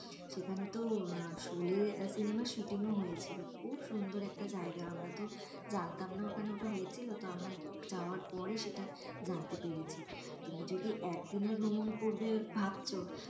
সেখানে তো শোলে সিনেমার সুটিংও হয়েছিল খুব সুন্দর একটা জায়গা আমরা তো জানতাম না ওখানে ওটা হয়েছিল তা আমরা যাওয়ার পরে সেটা জানতে পেরেছি তুমি যদি একদিনের ভ্রমন করবে ভাবছ,